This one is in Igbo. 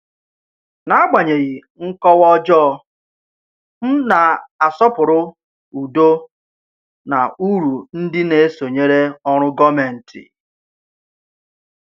N’agbanyeghị nkọwa ọjọọ, m na-asọpụrụ udo na uru ndị na-esonyere ọrụ gọmenti.